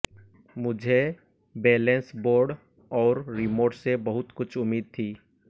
मुझे balance board और remote से बहुत कुछ उम्मीद थी